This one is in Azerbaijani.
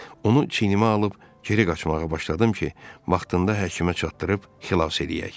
Onu çiynimə alıb geri qaçmağa başladım ki, vaxtında həkimə çatdırıb xilas eləyək.